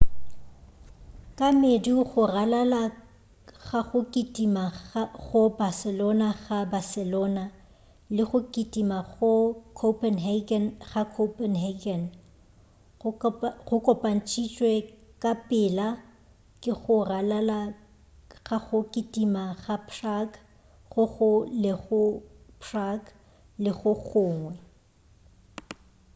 ka medu go ralala ga go kitima go barcelona ga barcelona le go kitima go copenhagen ga copenhagen go kopantšhitšwe ka pela ke go ralala ga go kitima ga prague go go lego prague le go gongwe